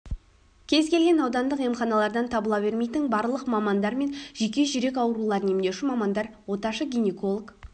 кез-келген аудандық емханалардан табыла бермейтін барлық мамандар бар жүйке жүрек ауруларын емдеуші мамандар оташы гинеколог